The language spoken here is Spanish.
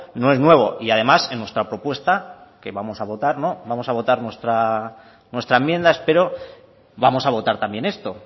no es nuevo y además en nuestra propuesta que vamos a votar no vamos a votar nuestra enmienda espero vamos a votar también esto